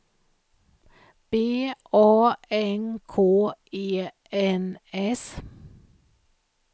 B A N K E N S